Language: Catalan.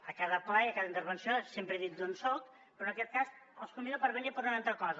a cada ple i a cada intervenció sempre he dit d’on soc però en aquest cas els convido a venir per una altra cosa